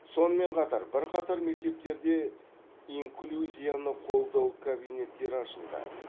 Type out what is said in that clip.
сонымен қатар бірқатар мектептерде инклюзияны қолдау кабинеттері ашылды